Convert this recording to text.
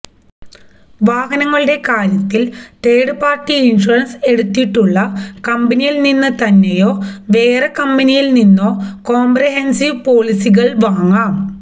വാഹനങ്ങളുടെ കാര്യത്തില് third party insurance എടുത്തിട്ടുള്ള കമ്പനിയില് നിന്ന് തന്നെയോ വേറെ കമ്പനികളില് നിന്നോ കോംപ്രിഹെന്സീവ് പോളിസികള് വാങ്ങാം